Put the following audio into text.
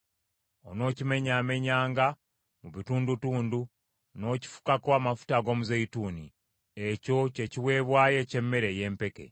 Onookimenyaamenyanga mu butundutundu, n’okifukako amafuta ag’omuzeeyituuni. Ekyo kye kiweebwayo eky’emmere ey’empeke.